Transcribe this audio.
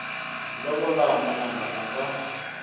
lovola n wananga a nga